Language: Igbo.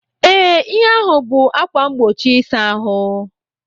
Ee, ihe ahụ bụ ákwà mgbochi ịsa ahụ.